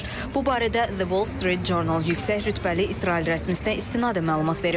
Bu barədə The Wall Street Journal yüksək rütbəli İsrail rəsmisinə istinadən məlumat verib.